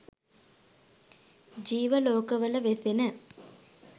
ජීව ලෝකවල වෙසෙන